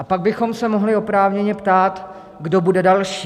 A pak bychom se mohli oprávněně ptát, kdo bude další.